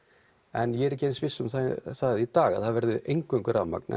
en ég er ekki eins viss um það í dag að það verði eingöngu rafmagn